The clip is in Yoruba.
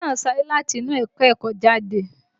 Ọmọ náà sáré láti inú ẹ̀ka-ẹ̀kọ́ jáde